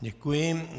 Děkuji.